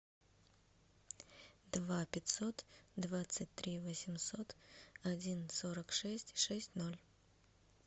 два пятьсот двадцать три восемьсот один сорок шесть шесть ноль